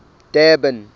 durban